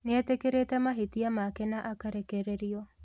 Nĩetĩkĩrĩte mahĩtia make na akarekererio